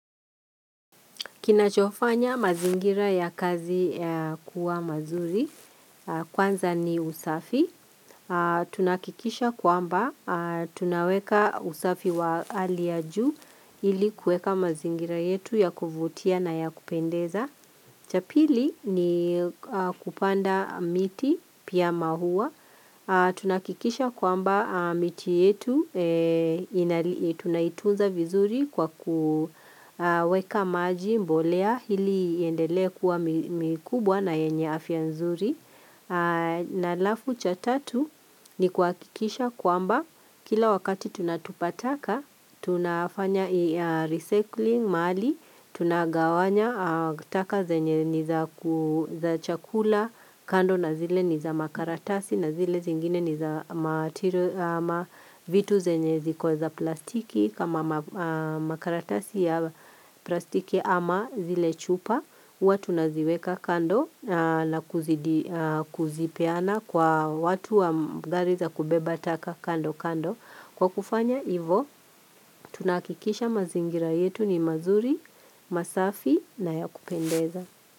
Kinachofanya mazingira ya kazi kuwa mazuri, kwanza ni usafi, tunakikisha kwamba tunaweka usafi wa hali ya ju ili kueka mazingira yetu ya kuvutia na ya kupendeza. Cha pili ni kupanda miti pia mahuwa Tunakikisha kwamba miti yetu tunaitunza vizuri kwa kuweka maji mbolea hili iyendelee kuwa mikubwa na yenye afia nzuri na alafu cha tatu ni kwakikisha kwamba kila wakati tunatupa taka tunafanya recycling mahali Tunagawanya taka zenye ni za chakula kando na zile ni za makaratasi na zile zingine ni za matiru ama vitu zenye ziko za plastiki kama makaratasi ya plastiki ama zile chupa watu naziweka kando na kuzipeana Kwa watu wa gari za kubeba taka kando kando Kwa kufanya, ivo, tunakikisha mazingira yetu ni mazuri, masafi na ya kupendeza.